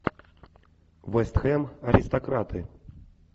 вест хэм аристократы